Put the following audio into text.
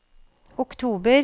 oktober